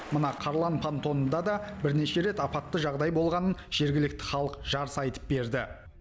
мына қарлан пантонында да бірнеше рет апатты жағдай болғанын жергілікті халық жарыса айтып берді